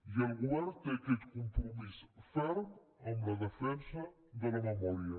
i el govern té aquest compromís ferm amb la defensa de la memòria